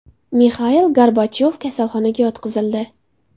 Mixail Gorbachyov kasalxonaga yotqizildi.